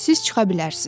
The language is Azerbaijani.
Siz çıxa bilərsiz.